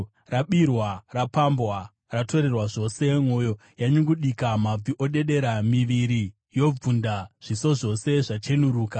Rabirwa, rapambwa, ratorerwa zvose! Mwoyo yanyungudika, mabvi odedera, miviri yobvunda, zviso zvose zvachenuruka.